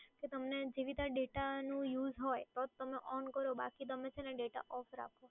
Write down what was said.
તો તમને જે બધા data નો use હોય તો જ તમે on કરો, બાકી છે ને તમે data off રાખો.